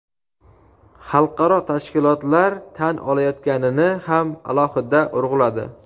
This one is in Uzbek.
xalqaro tashkilotlar tan olayotganini ham alohida urg‘uladi.